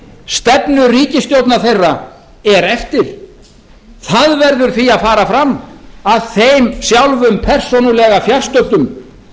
stefnu ríkisstjórnar þeirra er eftir það verður því að fara fram að þeim sjálfum persónulega fjarstöddum